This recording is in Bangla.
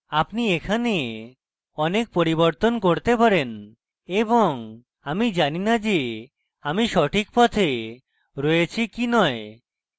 আপনি এখানে অনেক পরিবর্তন করতে পারেন এবং আমি জানি না যে আমি সঠিক পথে রয়েছি কি you